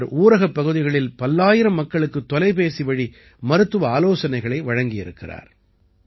இவர் ஊரகப் பகுதிகளில் பல்லாயிரம் மக்களுக்கு தொலைபேசிவழி மருத்துவ ஆலோசனைகளை வழங்கியிருக்கிறார்